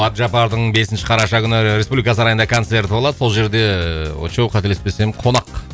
әбжаппардың бесінші қараша күні республика сарайында концерті болады сол жерде ыыы очоу қателеспесем қонақ